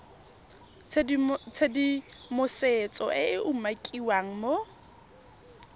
tshedimosetso e e umakiwang mo